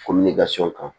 kan